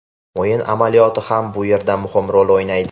O‘yin amaliyoti ham bu yerda muhim rol o‘ynaydi.